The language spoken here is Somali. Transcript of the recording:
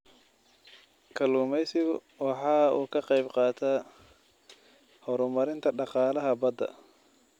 Kalluumaysigu waxa uu ka qayb qaataa horumarinta dhaqaalaha badda.